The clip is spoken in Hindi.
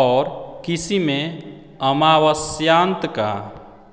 और किसी में अमावस्यांत का